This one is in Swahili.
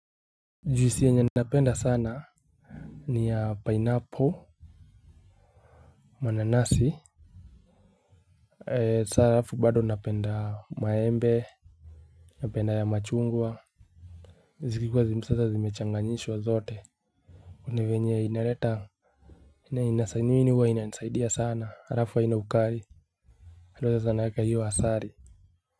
Juisi yenye napenda sana ni ya pineapple mananasi ee saa halafu bado napenda maembe napenda ya machungwa zikikuwa sasa zimechanganyishwa zote una venye inaleta ina inasanyu iniwa inasaidia sana rafu wa ina ukari alo za sana yaka hiyo asari. Muziki.